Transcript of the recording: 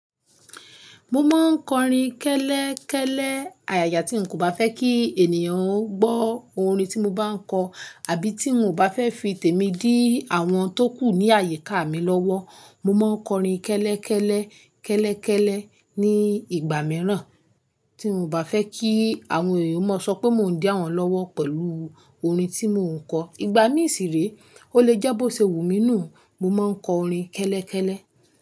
Mo máa ń kọrin kẹ́lẹ́kẹ́lẹ́ ayaya tí n kò bá fẹ́ kí ènìyàn o gbọ́ orin tí mo bá ń kọ àbí tí n kò bá fẹ́ fi tèmi dí àwọn tó kù ní àyíká mi lọ́wọ́. Mo má ń kọrin kẹ́lẹ́kẹ́lẹ́, kẹ́lẹ́kẹ́lẹ́ ní ìgbà mìíràn tí n ò bá fẹ́ kí àwọn èèyàn mó sọ pé mò ń dẹ àwọn lọ́wọ́ pẹ̀lú orin tí mò ń kọ. Ìgbà mí sì rè e, ó lè jẹ́ bó ṣe wù mí nù, mo má ń kọ orin kẹ́lẹ́kẹ́lẹ́.